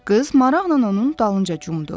Qız maraqla onun dalınca cumdu.